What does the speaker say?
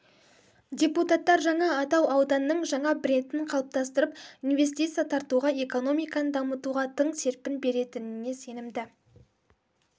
депутаттар жаңа атау ауданның жаңа брендін қалыптастырып инвестиция тартуға экономиканы дамытуға тың серпін беретініне сенімді